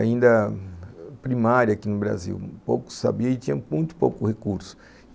ainda primária aqui no Brasil, pouco sabia e tinha muito pouco recurso.